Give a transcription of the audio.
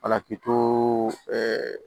Alaki to ɛɛ